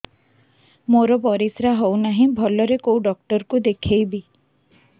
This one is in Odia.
ମୋର ପରିଶ୍ରା ହଉନାହିଁ ଭଲରେ କୋଉ ଡକ୍ଟର କୁ ଦେଖେଇବି